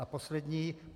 A poslední.